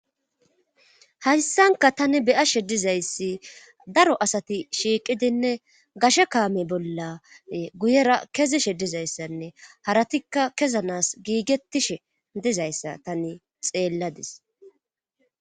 hayssanka tani beyashe dizayssi daro asati shiiqidinne gashe kaame bolla guyera kezishe dizayssanne haratikka kezanas giigettishe dizayssa tani xeelladis